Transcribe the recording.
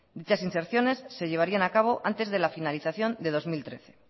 muchas inserciones se llevarían acabo antes de la finalización de dos mil trece